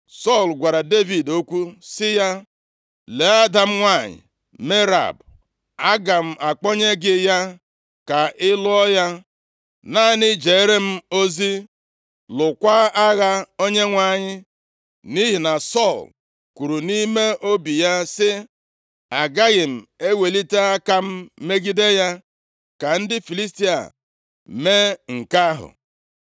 Sọl gwara Devid okwu sị ya, “Lee ada m nwanyị Merab. Aga m akpọnye gị ya, ka ị lụọ ya. Naanị jeere m ozi, lụọkwa agha Onyenwe anyị.” Nʼihi na Sọl kwuru nʼime obi ya sị, “Agaghị m ewelite aka m megide ya. Ka ndị Filistia mee nke ahụ.”